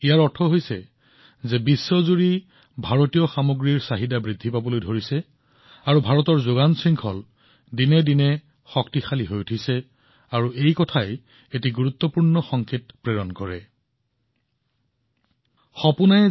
ইয়াৰ অৰ্থ হৈছে যে সমগ্ৰ বিশ্বতে ভাৰতত নিৰ্মাণ কৰা বস্তুৰ চাহিদা বৃদ্ধি পাইছে আনটোৰ অৰ্থ হৈছে যে ভাৰতৰ যোগান শৃংখলা দিনক দিনে শক্তিশালী হৈ আহিছে আৰু ইয়াৰ এটা ডাঙৰ বাৰ্তাও আছে